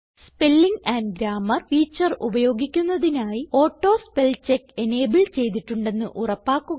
spelling and grammar feature ഉപയോഗിക്കുന്നതിനായി auto spellcheck enable ചെയ്തിട്ടുണ്ടെന്ന് ഉറപ്പാക്കുക